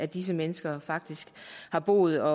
disse mennesker har boet og